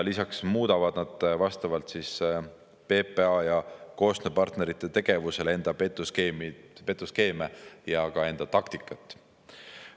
Lisaks muudavad vastavalt PPA ja koostööpartnerite tegevusele enda petuskeeme ja ka taktikat.